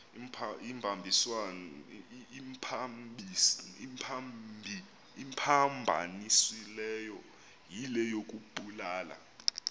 imphambanisileyo yile yokubulala